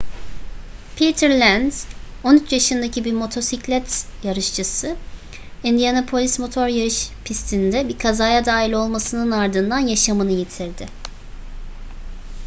peter lenz 13 yaşındaki bir motosiklet yarışçısı indianapolis motor yarış pisti'nde bir kazaya dahil olmasının ardından yaşamını yitirdi